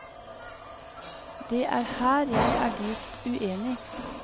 Det er her jeg er dypt uenig.